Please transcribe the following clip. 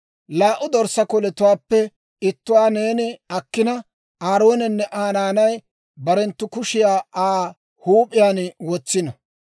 «Laa"u dorssaa koletuwaappe ittuwaa neeni akkina, Aaroonenne Aa naanay barenttu kushiyaa Aa huup'iyaan wotsino.